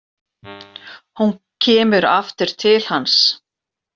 Hún kemur aftur til hans.